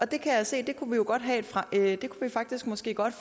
det kan jeg se at vi faktisk måske godt